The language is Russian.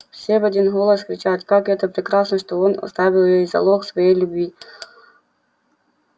все в один голос кричат как это прекрасно что он оставил ей залог своей любви